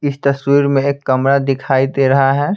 इस तस्वीर में एक कमरा दिखाई दे रहा है।